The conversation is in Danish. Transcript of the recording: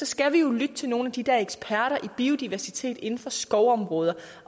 skal vi jo lytte til nogle af de der eksperter i biodiversitet inden for skovområder